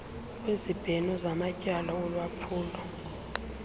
kwezibheno zamatyala olwaphulo